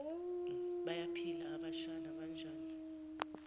bayaphila abashana banjani